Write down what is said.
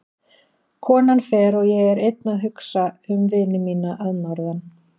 Konan fer og ég er einn að hugsa um vini mína að norðan.